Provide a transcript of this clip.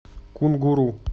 кунгуру